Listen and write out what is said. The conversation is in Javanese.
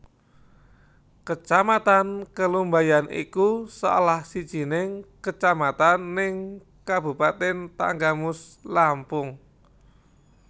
Kacamatan Kelumbayan iku salah sijining kacamatan neng kabupatèn Tanggamus Lampung